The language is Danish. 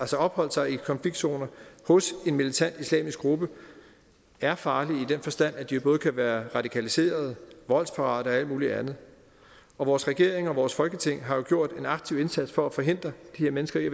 opholdt sig i konfliktzoner hos en militant islamisk gruppe er farlige i den forstand at de både kan være radikaliserede voldsparate og alt muligt andet og vores regering og vores folketing har jo gjort en aktiv indsats for at forhindre de her mennesker i